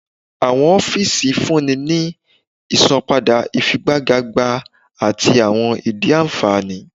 Awọn ọfiisi yoo funni ni isanpada ifigagbaga ati awọn idii anfani.